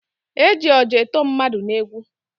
Eji ọja eto mmadụ n'egwu.